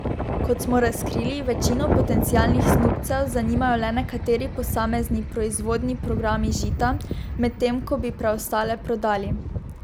Kot smo razkrili, večino potencialnih snubcev zanimajo le nekateri posamezni proizvodni programi Žita, medtem ko bi preostale prodali.